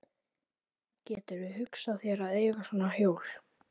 Gætirðu hugsað þér að eiga svona hjól?